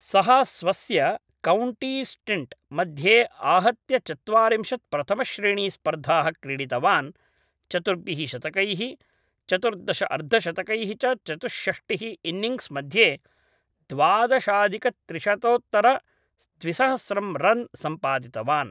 सः स्वस्य कौण्टीस्टिण्ट् मध्ये आहत्य चत्वारिंशत् प्रथमश्रेणीस्पर्धाः क्रीडितवान्, चतुर्भिः शतकैः चतुर्दश अर्धशतकैः च चतुष्षष्टिः इन्निन्ग्स् मध्ये द्वादशाधिकत्रिशतोत्तरद्विसहस्रं रन् सम्पादितवान्